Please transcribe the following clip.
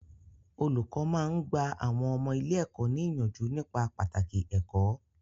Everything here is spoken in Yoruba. Olùkọ́ máa ń gba àwọn ọmọ ilé-ẹ̀kọ́ ní ìyànjú nípa pàtàkì ẹ̀kó.